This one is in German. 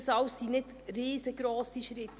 Das alles sind nicht riesengrosse Schritte: